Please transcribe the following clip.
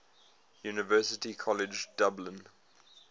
university college dublin